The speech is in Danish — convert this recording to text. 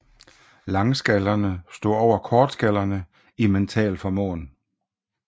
Langskallerne stod over kortskallerne i mental formåen